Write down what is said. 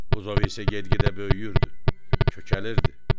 Buzov isə get-gedə böyüyürdü, kökəlirdi.